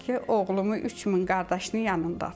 Ki, oğlumu 3000 qardaşının yanındadır.